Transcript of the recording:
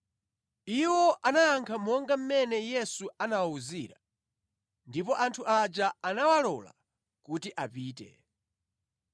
Iwo anayankha monga mmene Yesu anawawuzira, ndipo anthu aja anawalola kuti apite.